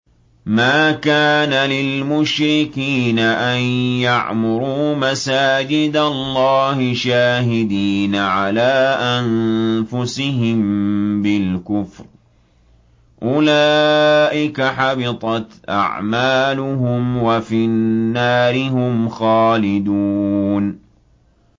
مَا كَانَ لِلْمُشْرِكِينَ أَن يَعْمُرُوا مَسَاجِدَ اللَّهِ شَاهِدِينَ عَلَىٰ أَنفُسِهِم بِالْكُفْرِ ۚ أُولَٰئِكَ حَبِطَتْ أَعْمَالُهُمْ وَفِي النَّارِ هُمْ خَالِدُونَ